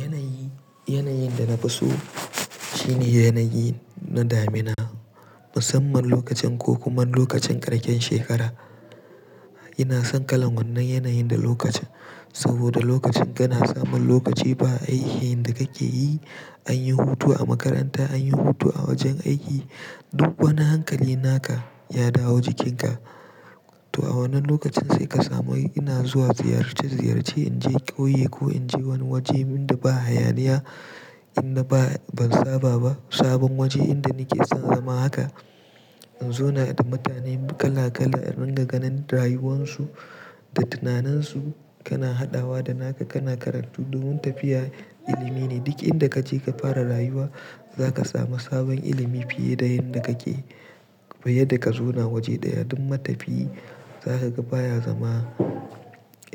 Yanayi, yanayin da na fi so shine yanayi na damina, musamman lokacin ko kuma lokacin ƙarken shekara. Ina son kalan wannan yanayin da lokacin saboda lokacin kana samun lokaci ba aiki yanda kake yi, an yi hutu a makaranta, an yi hutu a wajen aiki. Duk wani hankali naka ya dawo jikinka. To a wannan lokacin sai ka samu ina zuwa ziyarci, ziyarci in je ƙauye ko in je wani waje inda ba hayaniya, inda ba ban saba ba, sabon waje inda nake son zama haka. In zo na da mutane kala kala, in ringa ganin rayuwansu da tunanansu. Kana haɗawa da naka, kana karatu. Duk wani tafiya ilimi ne. Duk inda kace ka fara rayuwa, zaka samu sabon ilimi fiye da yanda kake, fiye da ka zauna waje ɗaya. Duk matafiyi zaka ga baya zama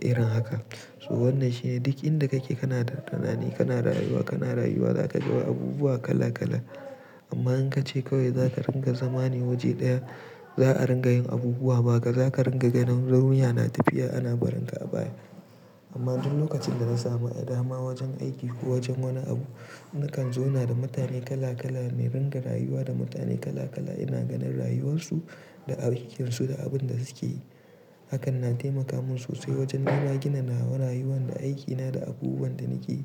irin haka. So wannan shine duk inda kake kana da tunani, kana rayuwa, kana rayuwa, zaka ga abubuwa kala kala. Amma in kace kawai zaka ringa zama ne waje ɗaya, za a ringa yin abubuwa baka, zaka ringa ganin duniya na tafiya, ana barinka a baya. Amma duk lokacin da na samu a dama wajen aiki ko wajen wani abu, nakan zauna da mutane kala kala na ringa rayuwa da mutane kala kala. Ina ganin rayuwarsu da aikinsu da abin da suke yi. Hakan na taimaka mun sosai wajen nima in gina nawa rayuwana da aikina da abubuwan da nake.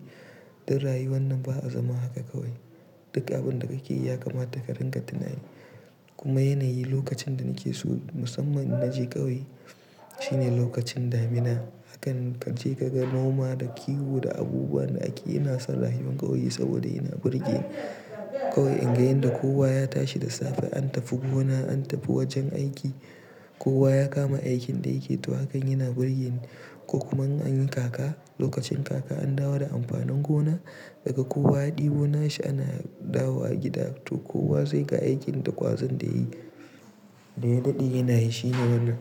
Dan rayuwa nan ba a zama haka kawai. Duk abin da kake yi ya kamata ka ringa tunani. Kuma yanayi lokacin da nake so musamman in naje ƙauye shine lokacin damina. Hakan kace ka ga noma da kiwo da abubuwan da ake yi. Ina son rayuwan ƙauye saboda yana burge ni. Kawai in ga yanda kowa ya tashi da safe, an tafi gona, an tafi wajen aiki. Kowa ya kama aikin da yake to hakan yana burge ni ko kuma an yi kaka. Lokacin kaka an dawo da amfanin gona daga kowa ya ɗebo nashi ana dawo wa gida. To kowa zai ga aikin da kwazon da yayi. Na yadde ina yi shi ne wannan.